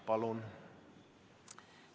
Palun!